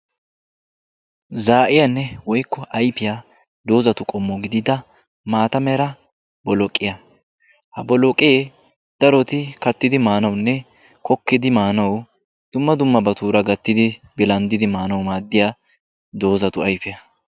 Za'iyanne woykko ayfiya dozatu qommo gidida maataa meraa bolloqiyaa. Ha bolloqe daroti kattidi maanawunne kokkidi maanawu dumma dummabaturaa gattidi bilanddidi maanawu maadiya dozatu ayfiyaa.